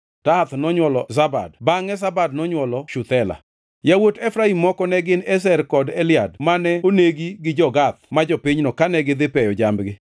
Tahath nonywolo Zabad bangʼe Zabad nonywolo Shuthela. Yawuot Efraim moko ne gin Ezer kod Elead mane onegi gi jo-Gath ma jopinyno kane gidhi peyo jambgi.